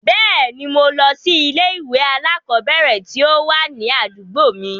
Bẹ́ẹ̀ ni, mo lọ sí ilé-ìwé alákọ̀ọ́bẹ̀ẹ̀rẹ̀ tí ó wà ní àdúgbò mi.